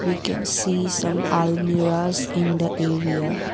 we can see some almirahs in the area.